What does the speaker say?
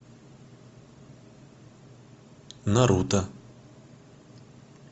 наруто